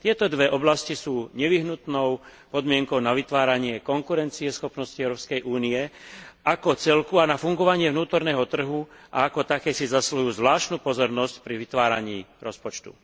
Tieto dve oblasti sú nevyhnutnou podmienkou na vytváranie konkurencieschopnosti Európskej únie ako celku a na fungovanie vnútorného trhu a ako také si zasluhujú zvláštnu pozornosť pri vytváraní rozpočtu.